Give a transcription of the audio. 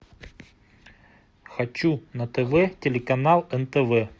хочу на тв телеканал нтв